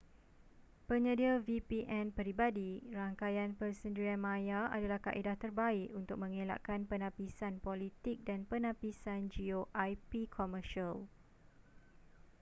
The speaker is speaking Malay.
penyedia vpn peribadi rangkaian persendirian maya adalah kaedah terbaik untuk mengelakkan penapisan politik dan penapisan geo ip komersial